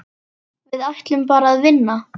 Við ætluðum bara að vinna.